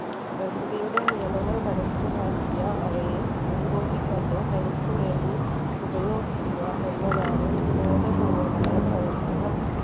പ്രകൃതിയുടെ നിയമങ്ങൾ മനസ്സിലാക്കിയ അവയെ മുൻകൂട്ടി കണ്ടു തനിക്കു വേണ്ടി ഉപയോഗിക്കുക എന്നതാണ് ബോധപൂർവ്വമായ പ്രവർത്തനം